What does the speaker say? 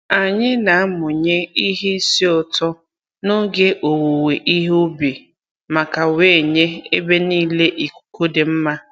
Anyï na-amụnye ihe isi ụtọ n'oge owuwe ihe ubi maka wee nye ebe niile ikuku dị mma